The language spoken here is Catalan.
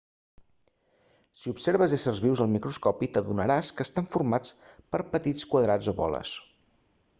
si observes éssers vius al microscopi t'adonaràs que estan formats per petits quadrats o boles